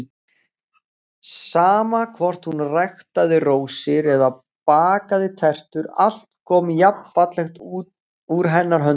Sama hvort hún ræktaði rósir eða bakaði tertu, allt kom jafnfallegt úr hennar höndum.